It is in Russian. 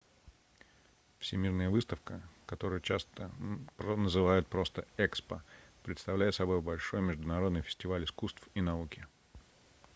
всемирная выставка которую часто называют просто экспо представляет собой большой международный фестиваль искусств и науки